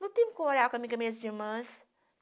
Não tem com as minhas irmãs